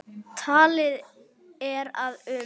Talið er að um